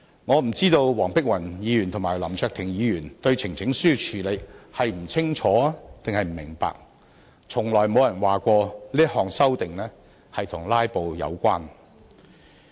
我不知道黃碧雲議員和林卓廷議員對呈請書的交付處理是不清楚還是不明白，亦從來沒有人說過這項修訂與"拉布"有關。